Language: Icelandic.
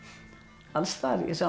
alls staðar